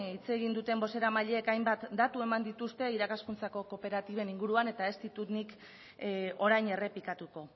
hitz egin duten bozeramaileek hainbat datu eman dituzte irakaskuntzako kooperatiben inguruan eta ez ditut nik orain errepikatuko